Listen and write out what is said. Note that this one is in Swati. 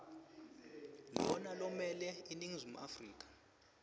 lona lomele iningizimu